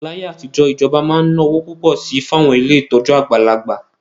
Láyé àtijọ́, ìjọba máa ń ná owó púpọ̀ sí i fún àwọn ilé ìtọ́jú àgbàlagbà